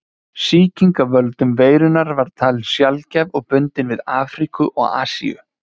Sýking af völdum veirunnar var talin sjaldgæf og bundin við Afríku og Asíu.